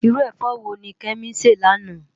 Irú efò wóni Kemi sè láná?